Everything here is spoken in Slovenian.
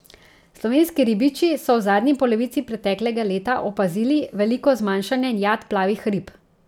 Slovenski ribiči so v zadnji polovici preteklega leta opazili veliko zmanjšanje jat plavih rib.